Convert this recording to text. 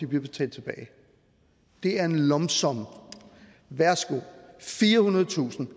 betalt tilbage det er en lump sum værsgo firehundredetusind